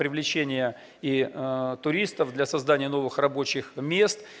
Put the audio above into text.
привлечение и туристов для создания новых рабочих мест